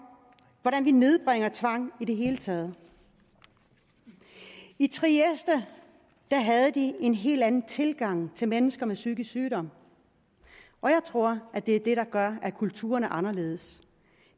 hvordan vi nedbringer tvang i det hele taget i trieste havde de en helt anden tilgang til mennesker med psykisk sygdom og jeg tror at det er det der gør at kulturen er anderledes